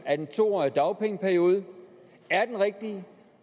at en to årig dagpengeperiode er det rigtige